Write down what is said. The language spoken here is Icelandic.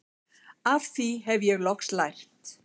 Af því hef ég loks lært